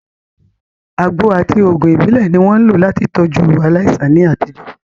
Àgbo àti òògùn ìbílẹ̀ ni wọ́n ń lò láti tọ́jú aláìsàn ní àtijọ́.